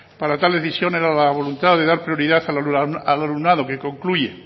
para tal decisión era la voluntad de dar prioridad al alumnado que concluye